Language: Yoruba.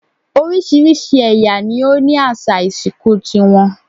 Oríṣiríṣi ẹ̀yà ni ó ní àṣà ìsìnkú ti wọn